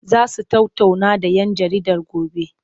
Za su tattauna da 'yan jaridar gobe?